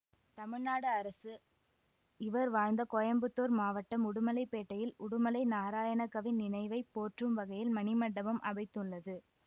தமிழ்நாடு அரசு இவர் வாழ்ந்த கோயம்புத்தூர் மாவட்டம் உடுமலைப்பேட்டையில் உடுமலை நாராயணகவி நினைவை போற்றும் வகையில் மணிமண்டபம் அமைத்துள்ளது